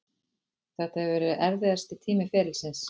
Þetta hefur verið erfiðasti tími ferilsins.